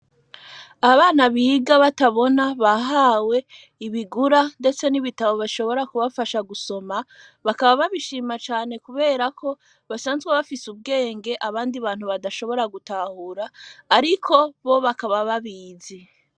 Abana biga batabona bahawe ibigura, ndetse nibitabo bashobora kubafasha gusoma bakaba babishima cane, kubera ko basanzwe bafise ubwenge abandi bantu badashobora gutahura, ariko bo bakaba babizi.